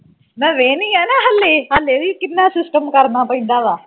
ਮੈਂ ਵੇਨੀ ਆ ਨਾ ਹੱਲੇ ਹੱਲੇ ਵੀ ਕਿੰਨਾ system ਕਰਨਾ ਪੈਂਦਾ ਵਾ